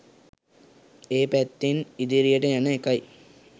ඒ පැත්තෙන් ඉදිරියට යන එකයි.